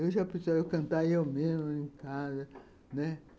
Eu já precisava cantar eu mesmo em casa, né.